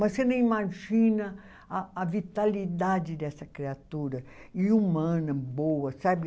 Mas você nem imagina a a vitalidade dessa criatura, e humana, boa, sabe?